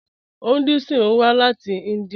Hinduism wà láti India.